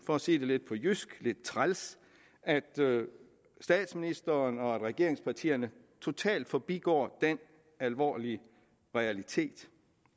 for at sige det på jysk at lidt træls at statsministeren og regeringspartierne totalt forbigår den alvorlige realitet